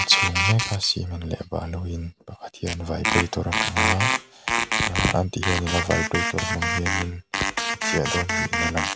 chhung meka cement leh balu in pakhat hian vibrator a hmang a ahh tihian in a vibrator hmang hianin a chiah dawn niin a lang.